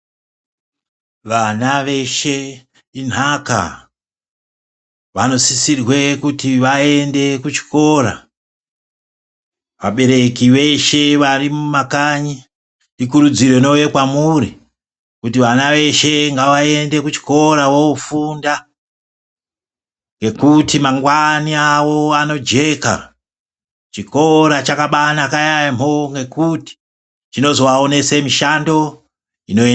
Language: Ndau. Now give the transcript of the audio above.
Vana veshe intaka vanosisirwe kuti vaende kuchikora vabereki veshe vari mumakanyi ikurudziro inouya kwamuri kuti vana veshe ngavaende kuchikora voofunda ngokuti mangwani awo anojeka chikora chakabanaka yampho ngokuti chinozoaonese mishando ino.....